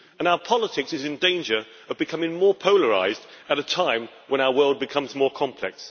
And our politics is in danger of becoming more polarised at a time when our world becomes more complex.